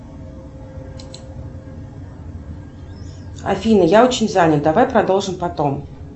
афина я очень занят давай продолжим потом